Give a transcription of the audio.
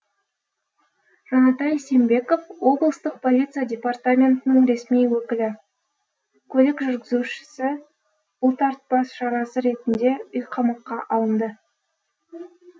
жанатай сембеков облыстық полиция департаментінің ресми өкілі көлік жүргізушісі бұлтартпа шарасы ретінде үйқамаққа алынды